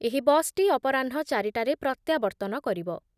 ଏହି ବସ୍‌ଟି ଅପରାହ୍ନ ଚାରିଟାରେ ପ୍ରତ୍ୟାବର୍ତ୍ତନ କରିବ ।